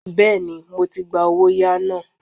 Bẹ́ẹ̀ni, mo ti gba owóyàá náà.